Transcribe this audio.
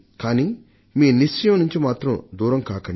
కానీ మీ సంకల్పం నుండి మాత్రం దూరం కాకండి